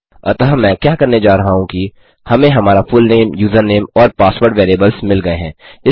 अत मैं क्या करने जा रहा हूँ कि हमें हमारा फुलनेम यूज़रनेम और पासवर्ड वेरिएबल्स मिल गये हैं